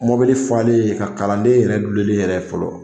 Mɔbili falen in ka kalanden yɛrɛ dulonlen yɛrɛ ye fɔlɔ.